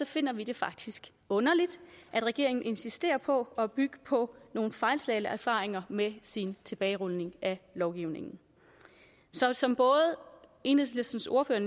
finder vi det faktisk underligt at regeringen insisterer på at bygge på nogle fejlslagne erfaringer med sin tilbagerulning af lovgivningen så som enhedslistens ordfører